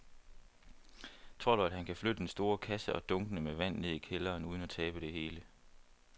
Tror du, at han kan flytte den store kasse og dunkene med vand ned i kælderen uden at tabe det hele?